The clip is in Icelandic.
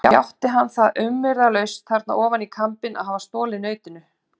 Játti hann það umyrðalaust þarna ofan í kambinn að hafa stolið nautinu.